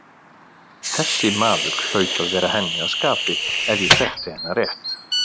Þessi maður hlaut að vera henni að skapi ef ég þekkti hana rétt.